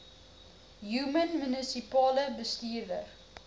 human munisipale bestuurder